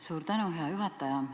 Suur tänu, hea juhataja!